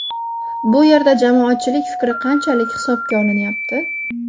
Bu yerda jamoatchilik fikri qanchalik hisobga olinyapti?